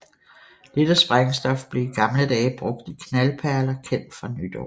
Dette sprængstof blev i gamle dage brugt i knaldperler kendt fra nytår